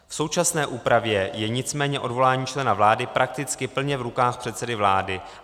V současné úpravě je nicméně odvolání člena vlády prakticky plně v rukách předsedy vlády.